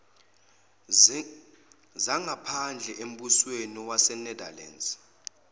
zangaphandle embusweni wasenetherlands